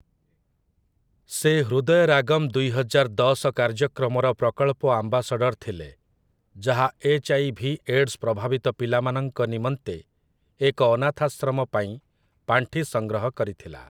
ସେ 'ହୃଦୟରାଗମ୍ ଦୁଇହଜାର ଦଶ' କାର୍ଯ୍ୟକ୍ରମର ପ୍ରକଳ୍ପ ଆମ୍ବାସାଡର୍ ଥିଲେ, ଯାହା ଏଚ୍‌.ଆଇ.ଭି. ଏଡ୍‌ସ ପ୍ରଭାବିତ ପିଲାମାନଙ୍କ ନିମନ୍ତେ ଏକ ଅନାଥାଶ୍ରମ ପାଇଁ ପାଣ୍ଠି ସଂଗ୍ରହ କରିଥିଲା ।